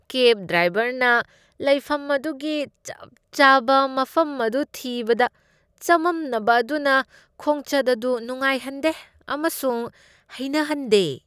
ꯀꯦꯕ ꯗ꯭ꯔꯥꯏꯕꯔꯅ ꯂꯩꯐꯝ ꯑꯗꯨꯒꯤ ꯆꯞ ꯆꯥꯕ ꯃꯐꯝ ꯑꯗꯨ ꯊꯤꯕꯗ ꯆꯃꯝꯅꯕ ꯑꯗꯨꯅ ꯈꯣꯡꯆꯠ ꯑꯗꯨ ꯅꯨꯡꯉꯥꯏꯍꯟꯗꯦ ꯑꯃꯁꯨꯡ ꯍꯩꯅꯍꯟꯗꯦ ꯫